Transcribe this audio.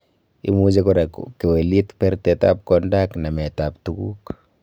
Imuch kora kokewelit bertetab konda ak nametab tuguk.